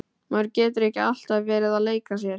Maður getur ekki alltaf verið að leika sér.